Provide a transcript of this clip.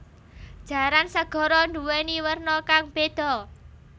Jaran segara nduwèni werna kang béda